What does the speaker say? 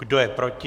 Kdo je proti?